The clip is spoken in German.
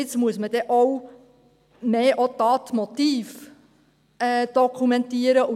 Jetzt wird man mehr auch Tatmotive dokumentieren müssen.